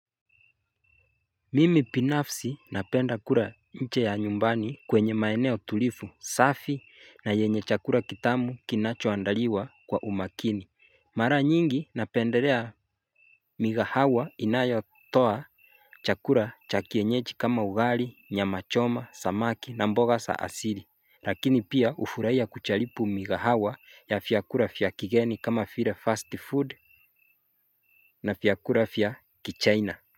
Mimi binafsi napenda kula nje ya nyumbani kwenye maeneo tulifu safi na yenye chakula kitamu kinacho andaliwa kwa umakini Mara nyingi napendelea mikahawa inayo toa chakula cha kienyeji kama ugali nya machoma samaki na mboga sa asiri Lakini pia ufuraiya kuchalipu migahawa ya fiakura fya kigeni kama file fast food na vyakula vya kichaina.